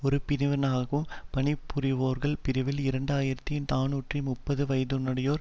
ஒரு பிரிவினராகவும் பணி புரிவோர்கள் பிரிவில் இரண்டு ஆயிரத்தி நாநூற்று முப்பது வயதுடையோர்